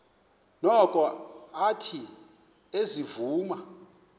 noko athe ezivuma